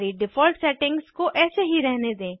सारी default settings को ऐसे ही रहने दें